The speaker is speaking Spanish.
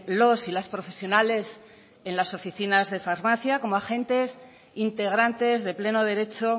los y las profesionales en las oficinas de farmacia como agentes integrantes de pleno derecho